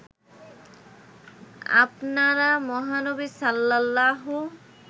আপনারা মহানবী সাল্লাল্লাহু